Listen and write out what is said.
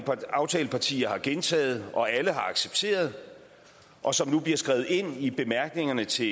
aftalepartier har gentaget og alle har accepteret og som nu bliver skrevet ind i bemærkningerne til